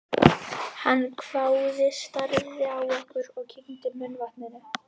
Hann hváði, starði á okkur og kyngdi munnvatni.